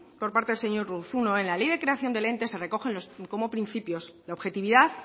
por parte del señor urruzuno en la ley de creación del ente se recogen como principios la objetividad